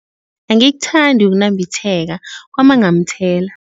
Angikuthandi ukunambitheka kwamakghamthela.